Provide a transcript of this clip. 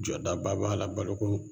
Jɔdaba b'a la baloko